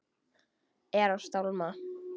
Er að stálma.